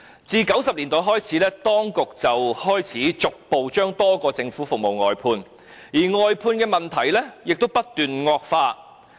自1990年代開始，當局便開始逐步把多項政府服務外判，而外判的問題亦不斷惡化。